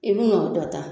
I bi n'o dɔ ta